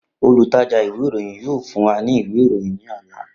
Olutaja iwe iroyin yoo fun wa ni iwe iroyin ni ọla.